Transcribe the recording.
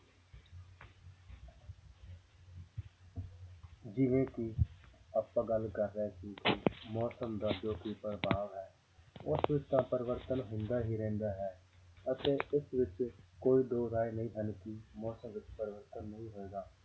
ਜਿਵੇਂ ਕਿ ਆਪਾਂ ਗੱਲ ਕਰ ਰਹੇ ਸੀ ਮੌਸਮ ਦਾ ਜੋ ਕਿ ਪ੍ਰਭਾਵ ਹੈ ਉਸ ਵਿੱਚ ਤਾਂ ਪਰਿਵਰਤਨ ਹੁੰਦਾ ਹੀ ਰਹਿੰਦਾ ਹੈ ਅਤੇ ਉਸ ਵਿੱਚ ਕੋਈ ਦੋ ਰਾਏ ਨਹੀਂ ਹਨ ਕਿ ਮੌਸਮ ਵਿੱਚ ਪਰਿਵਰਤਨ ਨਹੀਂ ਹੋਏਗਾ